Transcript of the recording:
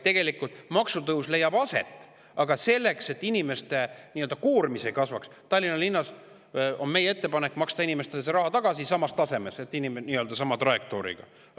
Tegelikult leiab maksutõus aset, aga selleks, et inimeste koormis ei kasvaks Tallinna linnas, on meie ettepanek maksta inimestele raha tagasi nii-öelda sama trajektooriga.